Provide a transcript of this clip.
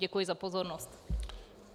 Děkuji za pozornost.